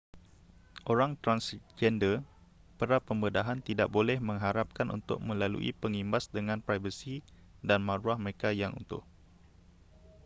orang transgender pra-pembedahan tidak boleh mengharapkan untuk melalui pengimbas dengan privasi dan maruah mereka yang utuh